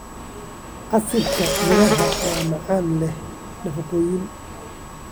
Casiirka miraha waa macaan leh nafaqooyin.